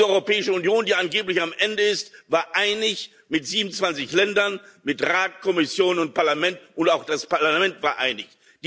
Diese Europäische Union, die angeblich am Ende ist, war einig, mit 27 Ländern, mit Rat, Kommission und Parlament, und auch das Parlament war einig.